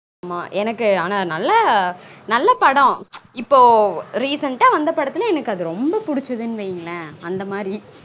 ஆமா எனக்கு நல்ல ஆனா நல்ல நல்ல படம் இப்பொ recent வந்த படத்துல எனக்கு அது ரொம்ப புடிச்சதனு வைங்களன் அந்த மாதிரி